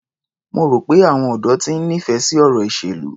Mo rò pé àwọn ọ̀dọ́ ti ń nífẹ̀ẹ́ sí ọ̀rọ̀ ìṣèlú.